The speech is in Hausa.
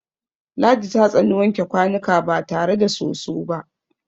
Ladi ta tsani wanke kwanuka ba tare da soso ba.